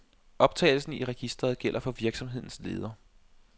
Optagelsen i registret gælder for virksomhedens leder.